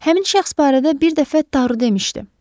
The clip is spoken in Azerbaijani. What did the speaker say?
Həmin şəxs barədə bir dəfə Taru demişdi.